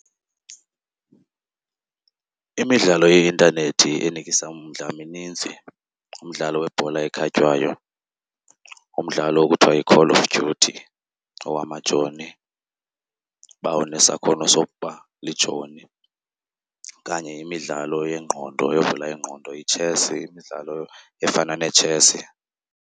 Imidlalo yeintanethi enikisa umdla mininzi. Umdlalo webhola ekhatywayo, umdlalo okuthiwa yiCall of Duty owamajoni, uba unesakhono sokuba lijoni. Okanye imidlalo yengqondo evula ingqondo, itshesi, imidlalo efana neetshesi.